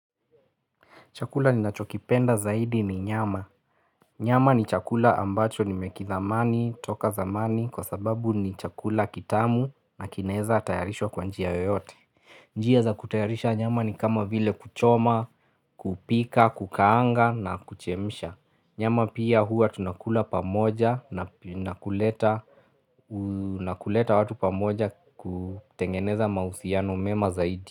Chakula ninachokipenda zaidi ni nyama. Nyama ni chakula ambacho nimekithamani toka zamani kwa sababu ni chakula kitamu na kinaeza tayarishwa kwa njia yoyote. Njia za kutayarisha nyama ni kama vile kuchoma, kupika, kukaanga na kuchemsha. Nyama pia huwa tunakula pamoja na nakuleta na kuleta watu pamoja kutengeneza mahusiano mema zaidi.